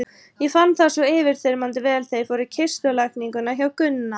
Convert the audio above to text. Ég fann það svo yfirþyrmandi vel þegar ég fór í kistulagninguna hjá Gunna.